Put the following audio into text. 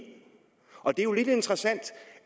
og det er lidt interessant